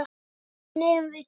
Vegna þín eigum við drauma.